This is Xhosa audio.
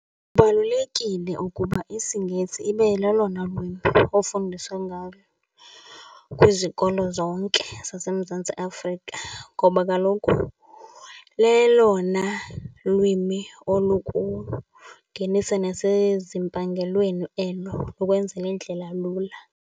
Kubalulekile ukuba isiNgesi ibe lelona lwimi ofundiswa ngalo kwizikolo zonke zaseMzantsi Afrika ngoba kaloku lelona lwimi olukungenisa nasezimpangelweni elo, likwenzela indlela lula.